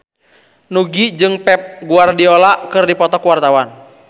Nugie jeung Pep Guardiola keur dipoto ku wartawan